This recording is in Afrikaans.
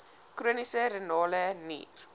chroniese renale nier